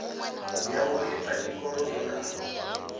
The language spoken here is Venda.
ya u lifha tshikolodo na